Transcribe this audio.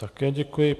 Také děkuji.